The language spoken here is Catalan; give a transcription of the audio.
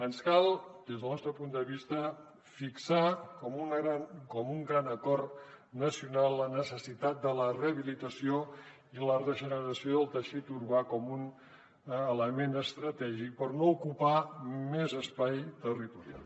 ens cal des del nostre punt de vista fixar com un gran acord nacional la necessitat de la rehabilitació i la regeneració del teixit urbà com un element estratègic per no ocupar més espai territorial